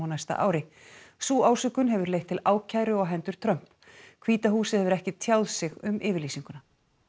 næsta ári sú ásökun hefur leitt til ákæru á hendur Trump hvíta húsið hefur ekki tjáð sig um yfirlýsinguna